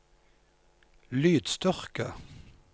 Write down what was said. lydstyrke